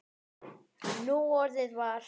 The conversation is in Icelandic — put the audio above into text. Núorðið var